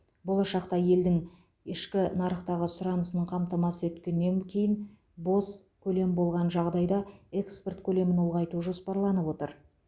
болашақта елдің елдің ішкі нарықтағы сұранысын қамтамасыз еткеннен кейін бос көлем болған жағдайда экспорт көлемін ұлғайту жоспарланып отыр